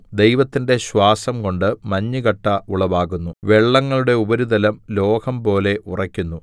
ദൈവത്തിന്റെ ശ്വാസംകൊണ്ട് മഞ്ഞുകട്ട ഉളവാകുന്നു വെള്ളങ്ങളുടെ ഉപാരിതലം ലോഹം പോലെ ഉറയ്ക്കുന്നു